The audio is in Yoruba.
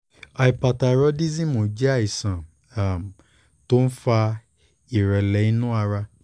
hyperthyroidism jẹ́ àìsàn um kan tó ń fa ìrẹ̀lẹ̀ inú ara